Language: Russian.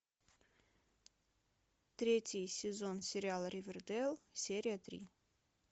третий сезон сериала ривердейл серия три